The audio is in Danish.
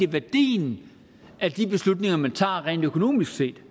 værdien af de beslutninger man tager rent økonomisk set